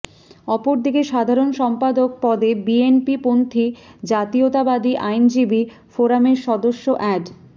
অপরদিকে সাধারণ সম্পাদক পদে বিএনপিপন্থী জাতীয়তাবদী আইনজীবী ফোরামের সদস্য অ্যাড